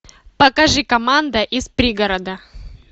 покажи команда из пригорода